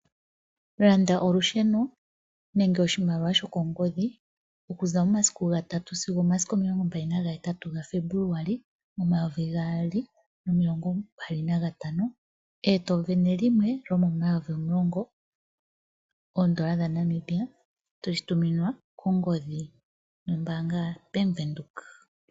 Landa olusheno nenge oshimaliwa shokongodhi okuza momasiku gatatu sigo omasiku omilongo mbali nagahetatu gaFebuluali omayovi gaali nomilongo mbali nagatano eto isindane limwe lyomomayovi omulongo oodola dhaNamibia toshi tuminwa kongodhi nombaanga yaBank Windhoek.